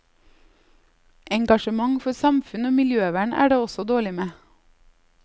Engasjement for samfunn og miljøvern er det også dårlig med.